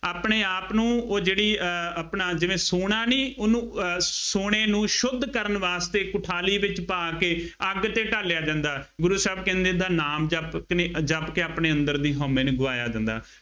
ਆਪਣੇ ਆਪ ਨੂੰ, ਉਹ ਜਿਹੜੀ ਅਹ ਆਪਣਾ ਜਿਵੇਂ ਸੋਨਾ ਨਹੀਂ, ਉਹਨੂੰ ਅਹ ਸੋਨੇ ਨੂੰ ਸ਼ੁੱਧ ਕਰਨ ਵਾਸਤੇ ਇੱਕ ਥਾਲੀ ਵਿੱਚ ਪਾ ਕੇ ਅੱਗ ਤੇ ਢਾਲਿਆ ਜਾਂਦਾ। ਗੁਰੂ ਸਾਹਿਬ ਕਹਿੰਦੇ ਐਦਾਂ ਨਾਮ ਜਪ ਕੇ ਜਪ ਕੇ ਆਪਣੇ ਅੰਦਰ ਦੀ ਹਉਮੈਂ ਨੂੰ ਗਵਾਇਆ ਜਾਂਦਾ।